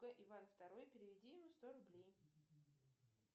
иван второй переведи ему сто рублей